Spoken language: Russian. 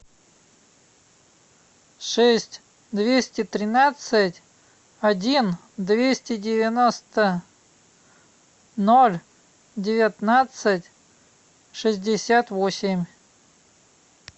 шесть двести тринадцать один двести девяносто ноль девятнадцать шестьдесят восемь